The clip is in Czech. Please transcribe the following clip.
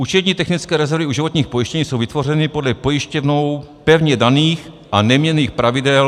Účetní technické rezervy u životních pojištění jsou vytvořeny podle pojišťovnou pevně daných a neměnných pravidel... .